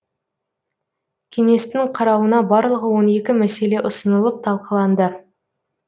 кеңестің қарауына барлығы он екі мәселе ұсынылып талқыланды